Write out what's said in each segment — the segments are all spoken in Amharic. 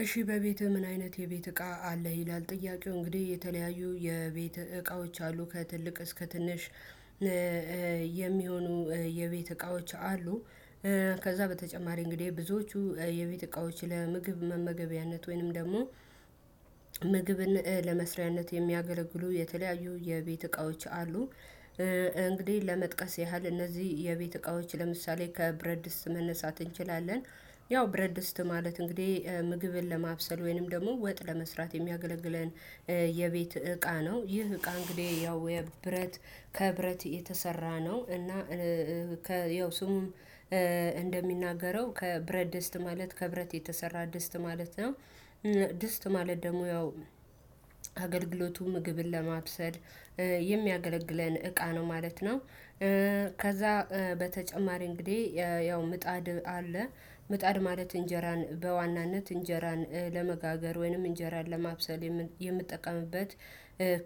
እሺ በቤትህ ምን አይነት የቤት እቃ አለህ ይላል ጥያቄው እንግዲህ የተለያዩ የቤት እቃዎች አሉ ከትልቅ እስከ ትንሽ የሚሆኑ የቤት እቃዎች አሉ። ከዛ በተጨማሪ እንግዲህ ብዙዎቹ የቤት እቃዎች ለምግብ መመገቢያነት ወይንም ደግሞ ምግብን ለመስሪያነት የሚያገለግሉ የተለያዩ የቤት እቃዎች አሉ። እንግዲህ ለመጥቀስ ያህል እነዚህ የቤት እቃዎች ለምሳሌ ከብረድስ መነሳት እንችላለን። ያው ብረድስት ማለት እንግዲህ ምግብን ለማብሰል ወይንም ደግሞ ወጥ ለመስራት የሚያገለግለን የቤት እቃ ነው። ይህ እቃ እንግዲህ ያው የብረት ከብረት የተሰራ ነው እና ያው ስሙም እንደሚናገረው ከብረት ደስት ማለት ከብረት የተሰራ ደስት ማለት ነው። ደስት ማለት ደግሞ ያው አገልግለቱ ምግብን ለማብሰል የሚያገለግለን እቃ ነው ማለት ነው። ከዛ በተጨማሪ እንግዲህ ያው ምጣድ አለ ምጣድ ማለት እንጀራን በዋናነት እንጀራን ለመጋገር ወይንም እንጀራን ለማብሰል የምጠቀምበት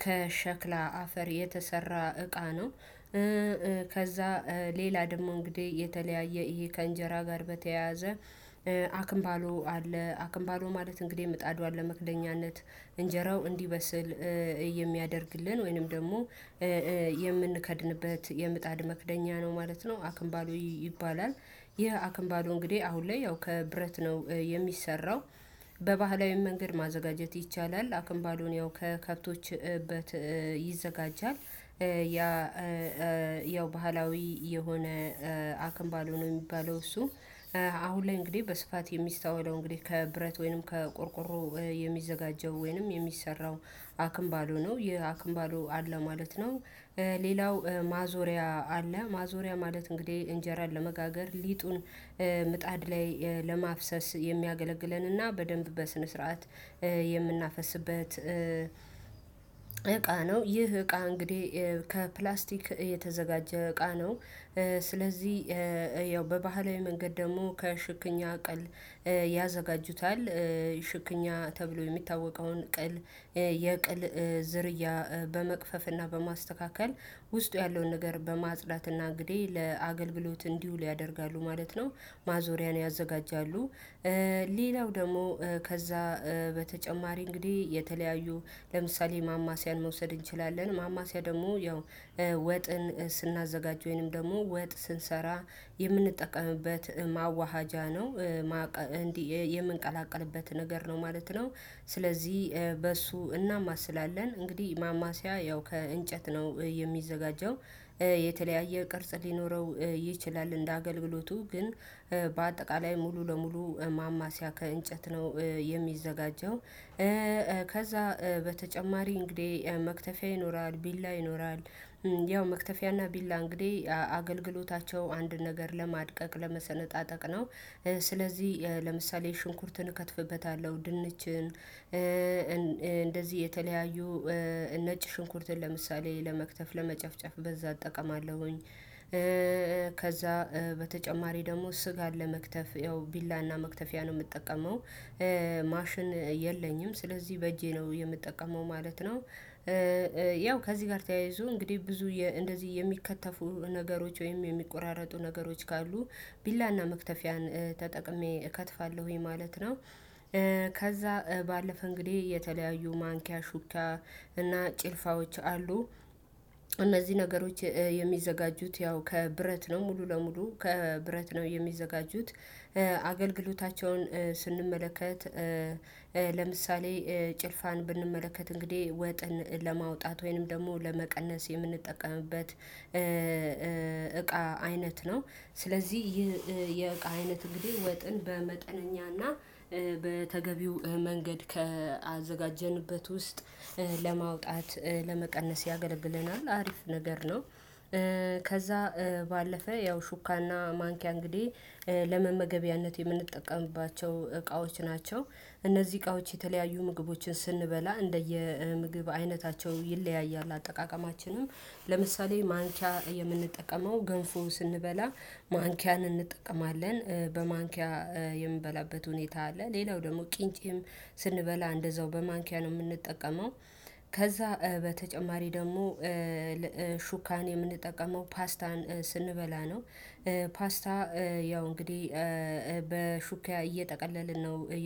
ከሸክላ አፈር የተሰራ እቃ ነው። ከዛ ሌላ ደግሞ እንግዲህ የተለያየ እይ ከእንጀራ ጋር በተያያዘ አክምባሎ አለ አክምባሎ ማለት እንግዲህ ምጣድዋ ለመክደኛነት እንጀራው እንዲበስል የሚያደርግልን ወይንም ደግሞ የምንከድንበት የምጣድ መክደኛ ነው ማለት ነው አክንባሉ ይባላል። ይህ አክንባሉ እንግዲህ አሁን ላይ ያው ከብረት ነው የሚሰራው በባህላዊ መንገድ ማዘጋጀት ይቻላል አክምባዶን ያው ከከብቶች ይዘጋጃል። ያ ያው ባህላዊ የሆነ አክምባለው ነው የሚባለው እሱ አሁን ላይ እንግዲህ በስፋት የሚስተዋለው እንግዲህ ከብረት ወይንም ከቆርቆሮ የሚዘጋጀው ወይንም የሚሰራው አክንባሎ ነው። ይህ አክንባሎ አለ ማለት ነው። ሌላው ማዞሪያ አለ ማዞሪያ ማለት እንግዲህ እንጀራን ለመጋገር ሊጡን ምጣድ ላይ ለማፍሰስ የሚያገለግለንና በደንብ በስነ ስርዓት የምናፈስበት እቃ ነው። ይህ እቃ እንግዲህ ከፕላስቲክ እየተዘጋጀ እቃ ነው። ስለዚህ ያው በባህላዊ መንገድ ደግሞ ከሽክኛ ቅል ያዘጋጁታል ሽክኛ ተብሎ የሚታወቀውን ቅል የቅል ዝርያ በመቅፈፍና በማስተካከል ውስጡ ያለውን ነገር በማጽዳትና እንግዲህ ለአገልግሎት እንዲውል ያደርጋሉ ማለት ነው። ማዞሪያን ያዘጋጃሉ። ሌላው ደግሞ ከዛ በተጨማሪ እንግዲህ የተለያዩ ለምሳሌ ማማሲያን መውሰድ እንችላለን ማማሲያ ደግሞ ያው ወጥን ስናዘጋጅ ወይንም ደግሞ ወጥ ስንሰራ የምንጠቀምበት ማዋሃጃ ነው። እንዲ የምንቀላቀልበት ነገር ነው ማለት ነው። ስለዚህ በእሱ እናማስላለን ስላለን እንግዲህ ማማሲያ ያው ከእንጨት ነው የሚዘጋጀው። የተለያየ ቅርጽ ሊኖረው ይችላል እንደ አገልግሎቱ ግን በአጠቃላይ ሙሉ ለሙሉ ማማሲያ ከእንጨት ነው የሚዘጋጀው። ከዛ በተጨማሪ እንግዲህ መክተፊያ ይኖራል ቢላ ይኖራል። ያው መክተፊያና ቢላ እንግዲህ አገልግሎታቸው አንድ ነገር ለማድቀቅ ለመሰነጣጠቅ ነው። ስለዚህ ለምሳሌ ሽንኩርትን እከትፍበታለሁ ድንችን እንደዚህ የተለያዩ ነጭ ሽንኩርትን ለምሳሌ ለመክተፍ ለመጨፍጨፍ በዛ እጠቀማለሁኝ። በተጨማሪ ደግሞ ስጋን ለመክተፍ ያው ቢላና መክተፊያ ነው የምጠቀመው። ማሽን የለኝም ስለዚህ በእጄ ነው የምጠቀመው ማለት ነው። ያው ከዚህ ጋር ተያይዞ እንግዲህ ብዙ እንደዚህ የሚከተፉ ነገሮች ወይም የሚቆራረጡ ነገሮች ካሉ ቢላና መክተፊያን ተጠቅሜ እከትፋለሁኝ ማለት ነው። ከዛ ባለፈ እንግዲህ የተለያዩ ማንኪያ ሹክያ አና ጭልፋዎች አሉ። እነዚህ ነገሮች የሚዘጋጁት ያው ከብረት ነው ሙሉ ለሙሉ ከብረት ነው የሚዘጋጁት። አገልግሎታቸውን ስንመለከት ለምሳሌ ጭልፋን ብንመለከት እንግዲህ ወጥን ለማውጣት ወይንም ደግሞ ለመቀነስ የምንጠቀምበት እቃ አይነት ነው። ስለዚህ ይህ የእቃ አይነት እንግዲህ ወጥን በመጠነኛና በተገቢው መንገድ ካአዘጋጀንበት ውስጥ ለማውጣት ለመቀነስ ያገለግለናል አሪፍ ነገር ነው። ከዛ ባለፈ ያው ሹካና ማንኪያ እንግዲህ ለመመገቢያነት የምንጠቀምባቸው እቃዎች ናቸው። እነዚህ እቃዎች የተለያዩ ምግቦችን ስንበላ እንደየ ምግብ አይነታቸው ይለያያል አጠቃቀማችንም ለምሳሌ ማንኪያ የምንጠቀመው ገንፎ ስንበላ ማንኪያን እንጠቀማለን። በማንኪያ የምንበላበት ሁኔታ አለ ሌላው ደግሞ ቅንጫም ስንበላ እንደዛው በማንኪያ ነው የምንጠቀመው። ከዛ በተጨማሪ ደግሞ ሹካን የምንጠቀመው ፓስታን ስንበላ ነው። ፓስታ ያው እንግዲህ በሹክያ እየጠቀለልን ነው